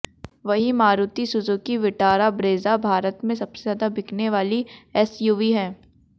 वहीं Maruti Suzuki Vitara Brezza Bharat में सबसे ज्यादा बिकने वाली एसयूवी है